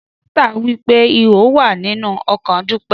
Dọkità wipé ihó wà ninú ọkàn Dupe